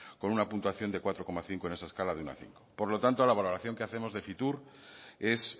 con una puntuación de cuatro coma cinco en esa escala del uno al cinco por lo tanto la valoración que hacer de fitur es